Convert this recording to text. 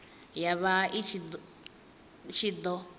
ya vha i ṱshi ḓo